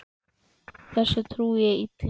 Þessu trúi ég illa.